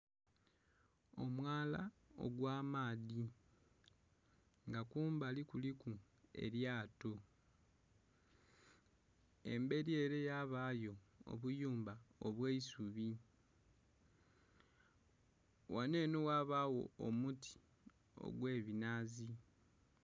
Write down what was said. Omwala ogw'amaadhi nga kumbali kuliku elyato. Emberi ere yabayo obuyumba obw'eisubi. Ghano enho ghabawo omuti ogw'ebinaazi.